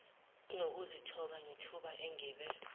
ngokuzithoba ngethuba engibe